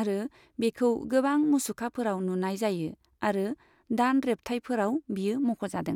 आरो बेखौ गोबां मुसुखाफोराव नुनाय जायो आरो दान रेब्थायफोराव बेयो मख'जादों।